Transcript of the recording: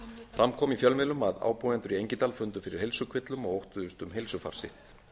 fram kom í fjölmiðlum að ábúendur í engidal fundu fyrir heilsukvillum og óttuðust um heilsufar sitt